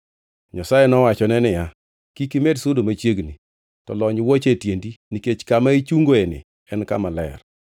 Nyasaye nowachone niya, “Kik imed sudo machiegni, to lony wuoche e tiendi, nikech kama ichungoeni en Kama Ler.”